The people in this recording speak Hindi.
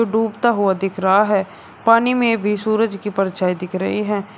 डूबता हुआ दिख रहा है पानी में भी सूरज की परछाई दिख रही है।